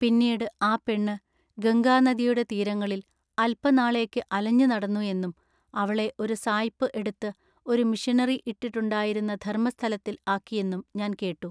പിന്നീട് ആ പെണ്ണ് ഗംഗാനദിയുടെ തീരങ്ങളിൽ അല്പനാളേക്ക് അലഞ്ഞു നടന്നു എന്നും അവളെ ഒരു സായിപ്പ് എടുത്ത് ഒരു മിഷനറി ഇട്ടിട്ടുണ്ടായിരുന്ന ധർമ്മസ്ഥലത്തിൽ ആക്കിയെന്നും ഞാൻ കേട്ടു.